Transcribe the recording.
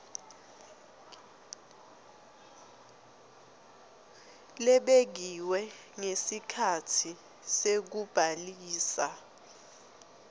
lebekiwe ngesikhatsi sekubhalisa